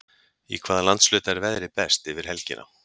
í hvaða landshluta er veðrið best yfir helgina